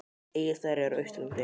Egilsstaðir eru á Austurlandi.